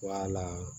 la